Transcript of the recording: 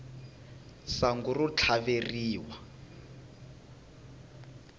sangu ro tlhaveriwa